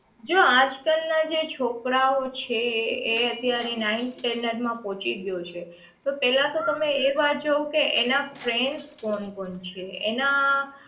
જો આજ કાલ ના જે છોકરાઓ છે એ અત્યારે ninth standard માં પહુંચી ગયો છે તો પહેલા તો તમે એક વાત જોવો કે એના એના friends કોણ કોણ છે એના